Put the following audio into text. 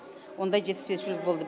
ондай жетіспеушілік болды